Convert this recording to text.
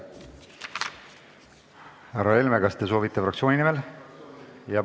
Härra Helme, kas te soovite kõnelda fraktsiooni nimel?